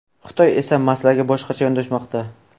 Xitoy esa masalaga boshqacha yondashmoqda.